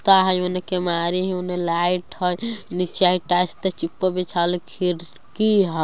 ता हैय उने केवाड़ी हैय उने लाइट हैय नीचे एकटा ऊपर ।